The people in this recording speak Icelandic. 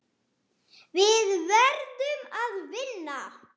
Við verðum að vinna.